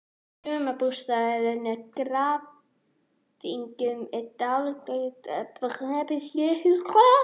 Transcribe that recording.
Sumarbústaðurinn er í Grafningnum, í dálítilli hlíð niðri við Þingvallavatn.